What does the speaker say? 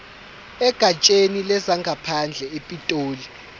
egatsheni lezangaphandle epitoli